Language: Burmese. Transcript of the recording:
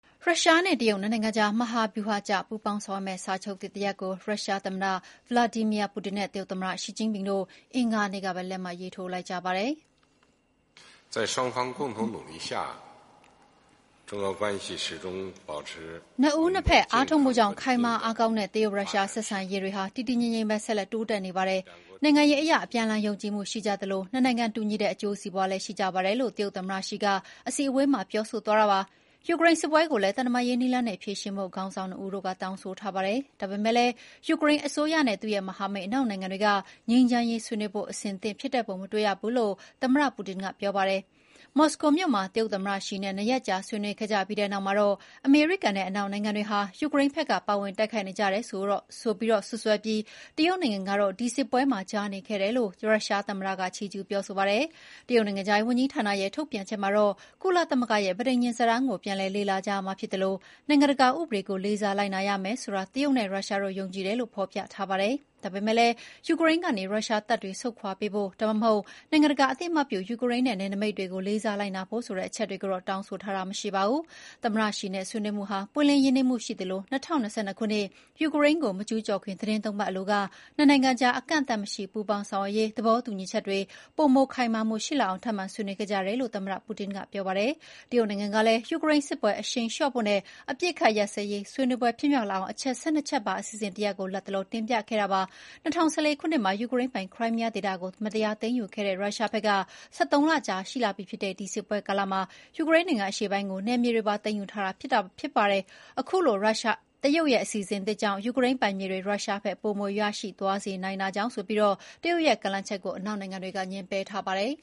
ရုရှားနဲ့တရုတ် နှစ်နိုင်ငံကြား မဟာဗျူဟာကျ ပူးပေါင်းဆောင်ရွက်မယ့် စာချုပ်သစ်တရပ်ကို ရုရှားသမ္မတ Vladimir Putin နဲ့ တရုတ်သမ္မတ ရှီကျင့်ဖျင်တို့ အင်္ဂါနေ့ကပဲ လက်မှတ်ရေးထိုးလိုက်ကြပါတယ်။ နှစ်ဦးနှစ်ဘက်အားထုတ်မှုကြောင့် ခိုင်မာအားကောင်းတဲ့ တရုတ်ရုရှား ဆက်ဆံရေးတွေဟာ တည်တည်ငြိမ်ငြိမ်ပဲ ဆက်လက် တိုးတက်နေပါတယ်။ နိုင်ငံရေးအရ အပြန်အလှန်ယုံကြည်မှုရှိကြသလို နှစ်နိုင်ငံ တူညီတဲ့အကျိုးစီးပွားလည်းရှိကြပါတယ်လို့ တရုတ်သမ္မတရှီက အစည်းအဝေးမှာ ပြောသွားတာပါ။ ယူကရိန်းစစ်ပွဲကိုလည်း သံတမန်ရေးနည်းလမ်းနဲ့ ဖြေရှင်းဖို့ ခေါင်းဆောင်နှစ်ဦးတို့က တောင်းဆိုထားပါတယ်။ ဒါပေမယ့်လည်း ယူကရိန်းအစိုးရနဲ့သူ့ရဲ့မဟာမိတ်အနောက်နိုင်ငံတွေက ငြိမ်းချမ်းရေးဆွေးနွေးဖို့ အဆင်သင့်ဖြစ်တဲ့ပုံမတွေ့ရဘူးလို့ သမ္မတပူတင်ကပြောပါတယ်။ မော်စကိုမြို့မှာ တရုတ်သမ္မတရှီနဲ့ ၂ ရက်ကြာဆွေးနွေးခဲ့ပြီးတဲ့နောက်မှာတော့ အမေရိကန်နဲ့အနောက်နိုင်ငံတွေဟာ ယူကရိန်းဘက်က ပါဝင်တိုက်ခိုက်နေကြတယ်လို့စွပ်စွဲပြီး တရုတ်နိုင်ငံကတော့ ဒီစစ်ပွဲမှာ ကြားနေခဲ့တယ်ဆိုပြီး ရုရှားသမ္မတက ချီးကျူးပါတယ်။ တရုတ်နိုင်ငံခြားရေးဝန်ကြီးဌာနရဲ့ ထုတ်ပြန်ချက်မှာတော့ ကုလသမဂ္ဂရဲ့ ပဋိညာဉ်စာတမ်းကို ပြန်လည်လေ့လာကြရမှာဖြစ်သလို နိုင်ငံတကာဥပဒေကို လေးစားလိုက်နာရမယ်ဆိုတာ တရုတ်နဲ့ရုရှားတို့ယုံကြည်တယ်လို့ ဖော်ပြထားပါတယ်။ ဒါပေမဲ့လည်း ယူကရိန်းကနေ ရုရှားတပ်တွေဆုတ်ခွာပေးဖို့ ဒါမှမဟုတ် နိုင်ငံတကာအသိအမှတ်ပြု ယူကရိန်းရဲ့နယ်နိမိတ်တွေကို လေးစားလိုက်နာဖို့ဆိုတဲ့ အချက်တွေကိုတော့ တောင်းဆိုထားတာမရှိပါဘူး။ သမ္မတရှီနဲ့ ဆွေးနွေးမှုဟာ ပွင်းလင်းရင်းနှီးမှုရှိသလို ၂၀၂၂ ခုနှစ် ယူကရိန်းကို မကျူးကျော်ခင် သီတင်း ၃ ပတ်အလိုက နှစ်နိုင်ငံကြား အကန့်အသတ်မရှိ ပူးပေါင်းဆောင်ရွက်ရေးသဘောတူညီချက်တွေ ပိုမိုခိုင်မာလာအောင် ထပ်မံ ဆွေးနွေးခဲ့ကြတယ်လို့ သမ္မတပူတင်ကပြောပါတယ်။ တရုတ်နိုင်ငံကလည်း ယူကရိန်းစစ်ပွဲ အရှိန်လျှော့ဖို့နဲ့ အပစ်အခတ်ရပ်စဲရေး ဆွေးနွေးပွဲဖြစ်မြောက်လာအောင် အချက် ၁၂ ချက်ပါအစီအစဉ်တရပ်ကို လတ်တလော တင်ပြခဲ့တာပါ။ ၂၀၁၄ ခုနှစ်မှာ ယူကရိန်းပိုင် ခရိုင်းမီးယားဒေသကို မတရားသိမ်းယူခဲ့တဲ့ ရုရှားဘက်က ၁၃ လကြာရှိလာပြီဖြစ်တဲ့ ဒီစစ်ပွဲကာလမှာ ယူကရိန်းနိုင်ငံအရှေ့ပိုင်းကို နယ်မြေတွေပါသိမ်းယူထားပါတယ်။ အခုလို တရုတ်ရဲ့အစီအစဉ်ကြောင့် ယူကရိန်းပိုင်မြေတွေ ရုရှားဘက်က ပိုမိုရရှိသွားစေနိုင်တာကြောင့်ဆိုပြီး တရုတ်ရဲ့ကမ်းလှမ်းချက်ကို အနောက်နိုင်ငံတွေက ငြင်းပယ်ထားပါတယ်